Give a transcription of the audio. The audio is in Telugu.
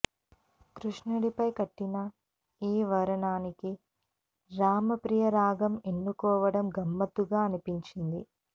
కృష్ణుడిపై కట్టిన ఈ వర్ణానికి రామప్రియ రాగం ఎన్నుకోవడం గమ్మత్తుగా అనిపించింది